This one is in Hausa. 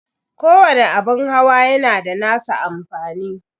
Kowani abun hawa yana da nasa amfani.